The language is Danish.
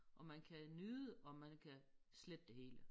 Og man kan nyde og man kan slette det hele